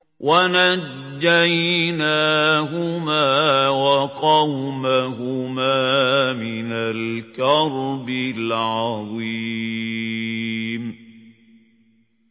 وَنَجَّيْنَاهُمَا وَقَوْمَهُمَا مِنَ الْكَرْبِ الْعَظِيمِ